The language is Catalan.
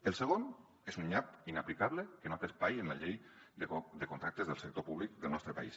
el segon és un nyap inaplicable que no té espai en la llei de contractes del sector públic del nostre país